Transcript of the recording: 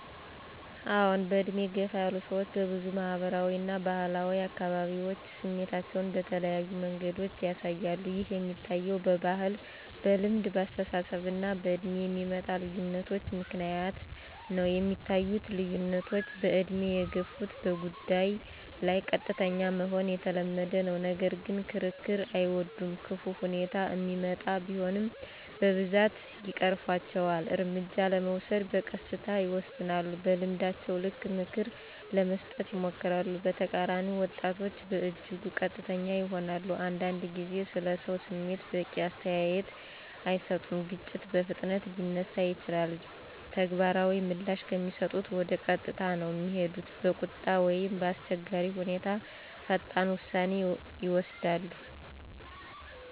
አዎን፣ በዕድሜ የገፉ ሰዎች በብዙ ማህበራዊ እና ባህላዊ አካባቢዎች ስሜታቸዉን በተለያዩ መንገዶች ያሳያሉ። ይህ የሚታየዉ በባህል፣ በልምድ፣ በአስተሳሰብ እና በእድሜ የሚመጣ ልዩነቶች ምክንያት ነዉ። የሚታዩት ልዩነቶች በእድሜ የገፉት በጉዳይ ላይ ቀጥተኛ መሆን የተለመደ ነው፣ ነገር ግን ክርክር አይወዱም።። ክፉ ሁኔታ እሚመጣ ቢሆንም በብዛት ይቀርፉአቸዋል፣ እርምጃ ለመውሰድ በቀስታ ይወስናሉ። በልምዳቸው ልክ ምክር ለመስጠት ይሞክራሉ። በተቃራኒ ወጣቶች በእጅጉ ቀጥተኛ ይሆናሉ፣ አንዳንድ ጊዜ ስለሰው ስሜት በቂ አስተያየት አይሰጡም። ግጭት በፍጥነት ሊነሳ ይችላል፣ ተግባራዊ ምላሽ ከሚሰጡት ወደ ቀጥታ ነዉ እሚሄዱት። በቁጣ ወይም በአስቸጋሪ ሁኔታ ፈጣን ውሳኔ ይወስዳሉ።